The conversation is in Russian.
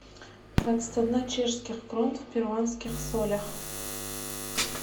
двадцать одна чешских крон в перуанских солях